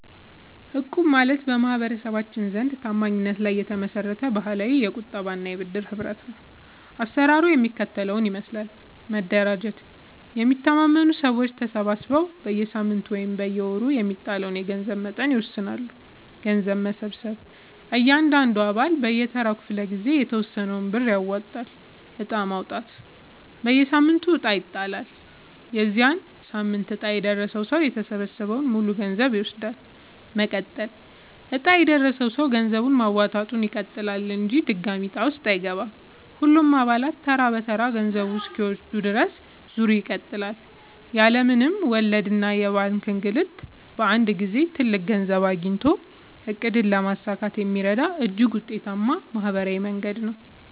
እቁብ ማለት በማህበረሰባችን ዘንድ ታማኝነት ላይ የተመሰረተ ባህላዊ የቁጠባና የብድር ህብረት ነው። አሰራሩ የሚከተለውን ይመስላል፦ መደራጀት፦ የሚተማመኑ ሰዎች ተሰባስበው በየሳምንቱ ወይም በየወሩ የሚጣለውን የገንዘብ መጠን ይወስናሉ። ገንዘብ መሰብሰብ፦ እያንዳንዱ አባል በየተራው ክፍለ-ጊዜ የተወሰነውን ብር ያዋጣል። ዕጣ ማውጣት፦ በየሳምንቱ ዕጣ ይጣላል። የዚያ ሳምንት ዕጣ የደረሰው ሰው የተሰበሰበውን ሙሉ ገንዘብ ይወስዳል። መቀጠል፦ ዕጣ የደረሰው ሰው ገንዘብ ማዋጣቱን ይቀጥላል እንጂ ድጋሚ ዕጣ ውስጥ አይገባም። ሁሉም አባላት ተራ በተራ ገንዘቡን እስኪወስዱ ድረስ ዙሩ ይቀጥላል። ያለ ምንም ወለድና የባንክ እንግልት በአንድ ጊዜ ትልቅ ገንዘብ አግኝቶ ዕቅድን ለማሳካት የሚረዳ እጅግ ውጤታማ ማህበራዊ መንገድ ነው።